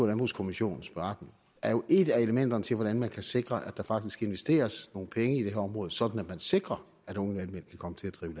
landbrugskommissionens beretning er jo et af elementerne til hvordan man kan sikre at der faktisk investeres nogle penge i det her område sådan at man sikrer at unge landmænd kan komme til at drive